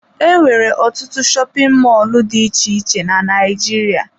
Enwere ọtụtụ shopin mọlụ dị iche iche na Naịjirịa.